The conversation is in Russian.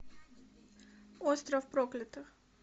остров проклятых